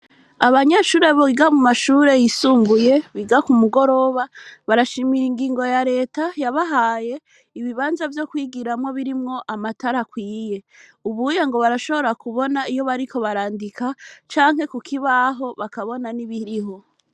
Abanyeshure biga mu mashuri yisumbuye biga ku mu goroba barashimira ingingo ya reta yabahaye ibibanza vyo kwigiramwo birimwo amatara akwiye ubuye ngo barashobora kubona iyo bariko barandika canke kukibaho bakobona nibiriho.